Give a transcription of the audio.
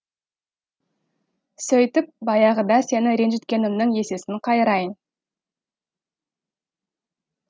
сөйтіп баяғыда сені ренжіткенімнің есесін қайырайын